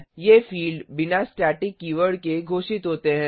ये फिल्ड बिना static keyword के घोषित होते हैं